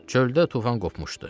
Çöldə tufan qopmuşdu.